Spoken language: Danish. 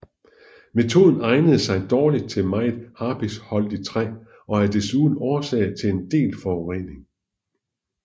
Metoden egner sig dårligt til meget harpiksholdigt træ og er desuden årsag til en del forurening